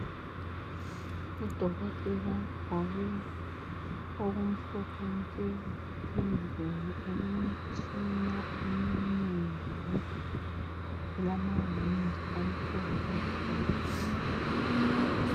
UDokotela ogqoke okumhlophe nke endlini elemtshina eminengi lamawindi amhlophe nke .